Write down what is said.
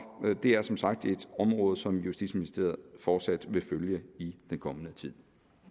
det er som sagt et område som justitsministeriet fortsat vil følge i den kommende tid